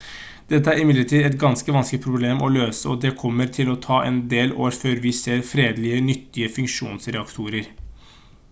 dette er imidlertid et ganske vanskelig problem å løse og det kommer til å ta en del år før vi ser ferdige nyttige fusjonsreaktorer